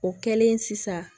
O kɛlen sisan